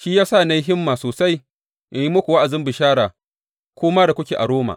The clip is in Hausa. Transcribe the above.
Shi ya sa na yi himma sosai in yi muku wa’azin bishara ku ma da kuke a Roma.